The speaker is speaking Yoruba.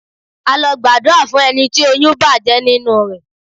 A lọ gbàdúrà fún ẹni tí oyún bàjẹ́ nínú rẹ.